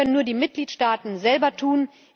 Das können nur die Mitgliedstaaten selber tun.